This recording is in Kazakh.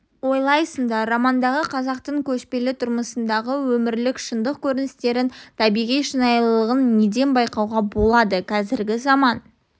ойлайсыңдар романдағы қазақтың көшпелі тұрмысындағы өмірлік шындық көріністерінің табиғи шынайылығын неден байқауға болады қазіргі заман